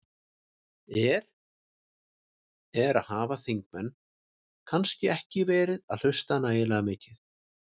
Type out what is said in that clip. Er, er, hafa þingmenn kannski ekki verið að hlusta nægilega mikið?